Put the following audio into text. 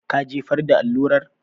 Ka jefar da allurar?